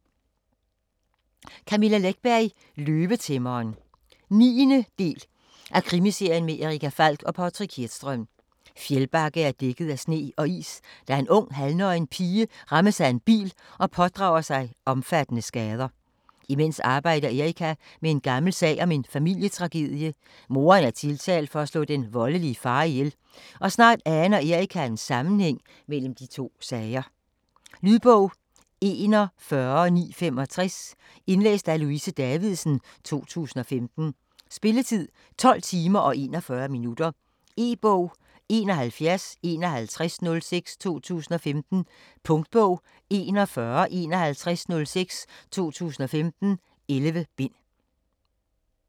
Läckberg, Camilla: Løvetæmmeren 9. del af Krimiserien med Erica Falck og Patrik Hedström. Fjällbacka er dækket af sne og is, da en ung, halvnøgen pige rammes af en bil og pådrager sig omfattende skader. Imens arbejder Erica med en gammel sag om en familietragedie; moderen er tiltalt for at slå den voldelige far ihjel, og snart aner Erica en sammenhæng mellem de to sager. Lydbog 41965 Indlæst af Louise Davidsen, 2015. Spilletid: 12 timer, 21 minutter. E-bog 715106 2015. Punktbog 415106 2015. 11 bind.